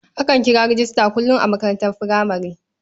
Akan kira rejista kullum a makarantar furamare.